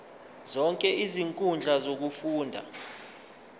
zonke izinkundla zokufunda